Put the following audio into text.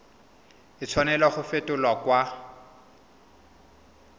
a tshwanela go fetolwa kwa